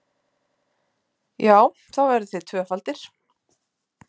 Já, þá verðið þið tvöfaldir!